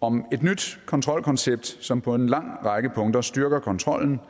om et nyt kontrolkoncept som på en lang række punkter styrker kontrollen